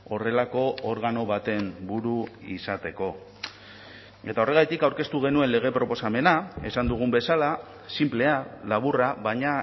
horrelako organo baten buru izateko eta horregatik aurkeztu genuen lege proposamena esan dugun bezala sinplea laburra baina